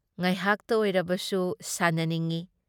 ꯉꯥꯏꯍꯥꯛꯇ ꯑꯣꯏꯔꯕꯁꯨ ꯁꯥꯟꯅꯅꯤꯡꯢ ꯫